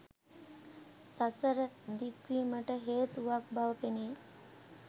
සසර දික්වීමට හේතුවක් බව පෙනෙයි